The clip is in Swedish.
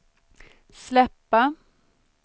släppa